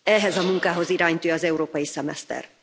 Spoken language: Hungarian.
Ehhez a munkához iránytű az európai szemeszter.